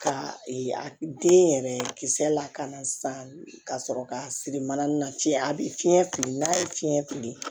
Ka den yɛrɛ kisɛ lakana sisan ka sɔrɔ ka siri mana na fiɲɛ a bi fiɲɛ fili n'a ye fiɲɛ fili